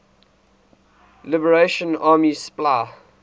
liberation army spla